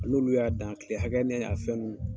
N' olu y'a dan, a kile hakɛ ni a fɛn ninnu.